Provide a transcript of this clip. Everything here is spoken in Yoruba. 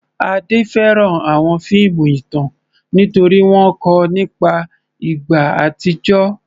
Ade fẹ́ràn àwọn fíìmù ìtàn nítorí wọ́n kọ́ ọ nípa ìgbà àtijọ́.